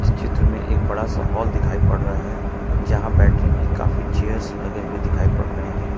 चित्र में एक बड़ा सा हॉल दिखाई पड़ रहा है जहां बैठने के लिए काफी चेयर्स लगे हुए दिखाई पड़ रहे हैं।